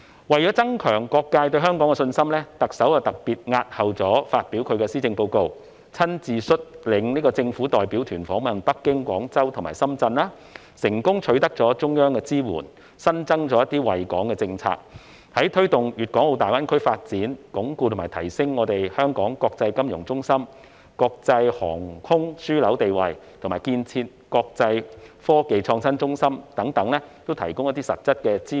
為了增強各界對香港的信心，特首特別押後發表施政報告，親自率領政府代表團訪問北京、廣州及深圳，成功取得中央支援，新增一些惠港政策，在推動粵港澳大灣區發展，鞏固和提升香港國際金融中心和國際航空樞紐的地位，以及建設國際科技創新中心等方面，均提供了一些實質支援。